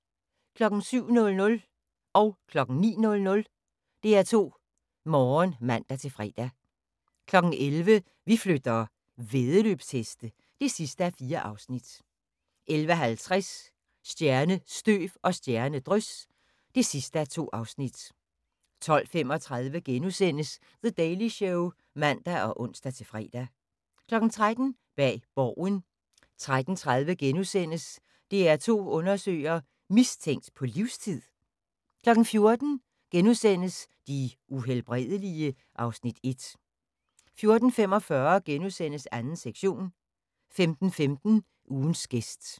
07:00: DR2 Morgen (man-fre) 09:00: DR2 Morgen (man-fre) 11:00: Vi flytter - væddeløbsheste (4:4) 11:50: Stjernestøv og stjernedrys (2:2) 12:35: The Daily Show *(man og ons-fre) 13:00: Bag Borgen 13:30: DR2 Undersøger: Mistænkt på livstid? * 14:00: De Uhelbredelige? (Afs. 1)* 14:45: 2. sektion * 15:15: Ugens gæst